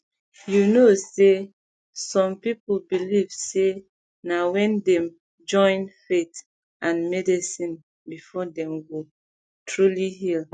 you know say some people believe say na wen dem join faith and medicine before dem go um truly heal